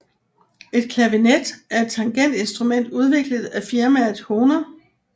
Et clavinet er et tangentinstrument udviklet af firmaet Hohner